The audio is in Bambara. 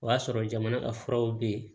O y'a sɔrɔ jamana ka furaw bɛ yen